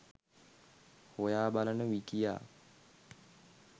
හොයා බලන විකියා